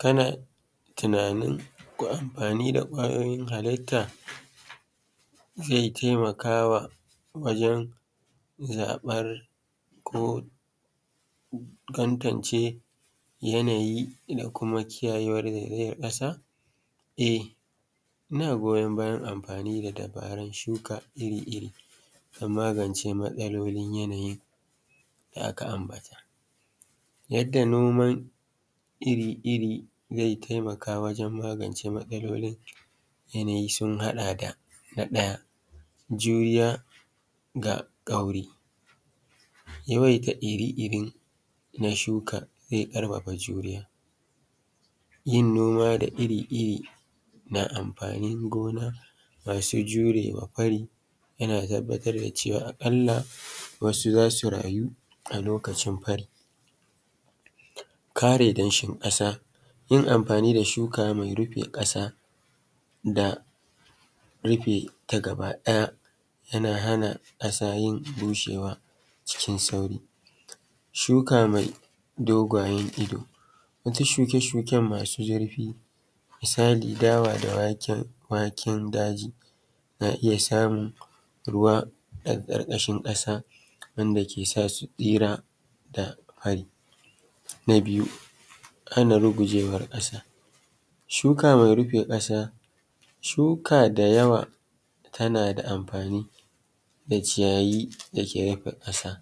Kana tunanin amfani da ƙwayoyin halitta zai taimaka wajen zaɓen ko tantance yanayi da kuma kiyayewa daga yi zaizayar ƙasa? E, ina goyan bayan amfani dabarar shuka iri-iri don magance matsalolin yanayin. Yadda nona iri-iri zai taimaka wajen magance matsalolin yanayi sun haɗa da: na ɗaya juya da kauri yawaita iri-iri na shuka sai ƙarfafa juriya. Yin noma da iri-iri na amfanin gona masu jirewa fari yana tabbatar da cewa aƙalla wasu za su rayu a lokacin fari. Kare danshin kasa, yin amfani da shuka mai rufe kasa da da rufe ta gaba ɗaya na hana kasa yin bushewa cikin sauri. Shuka mai dogayen ido. Shuke-shuken masu zirfi misali dawa da waken daji, na iya samu. Ruwa ƙarƙashin ƙasa wanda ke sa su tsari daga fari. Na biyu hana rugujewar ƙasa, shuka mai rufe kasa shuka da yawa tana da amfani da citayi dake rufe kasa.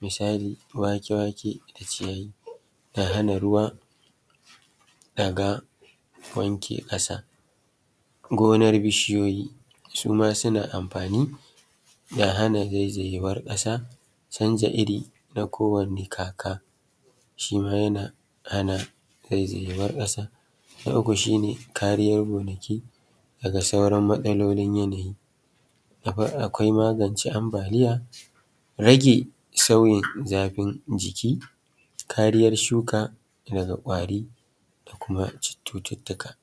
Mosali wake-wake da ciyayi kan hana ruwa daga wanke kasa. Ginar bishiyoyi su ma suna amfani da hana zaizayewar kasa. Canza iri na kowane kaka shi ma yana hana zaizayewar ƙasa. Na uku shi ne kariyar gonaki daga sauran matsaloli yanayi. Akwai magance ambaliya rage sauyi zafin jiki kariyar shuka daga ƙwari da kuma cututtuka.